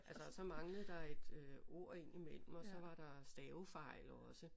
Altså så manglede der et øh ord indimellem og så var der stavefejl også